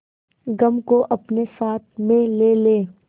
गम को अपने साथ में ले ले